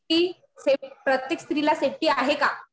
कि प्रत्येक स्त्रीला सेफ्टी आहे का?